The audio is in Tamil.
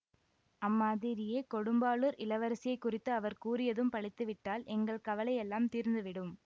அம்மாதிரியே கொடும்பாளூர் இளவரசியைக் குறித்து அவர் கூறியதும் பலித்துவிட்டால் எங்கள் கவலையெல்லாம் தீர்ந்துவிடும்